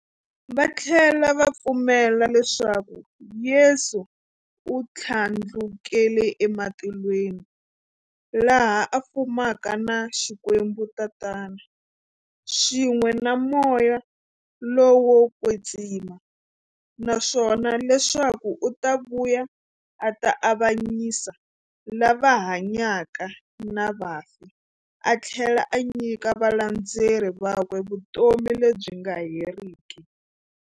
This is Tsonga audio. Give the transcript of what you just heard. Vathlela va pfumela leswaku Yesu u thlandlukele ematilweni, laha a fumaka na Xikwembu-Tatana, swin'we na Moya lowo kwetsima, naswona leswaku u ta vuya a ta avanyisa lava hanyaka na vafi athlela a nyika valandzeri vakwe vutomi lebyi nga heriki.